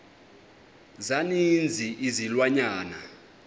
za ninzi izilwanyana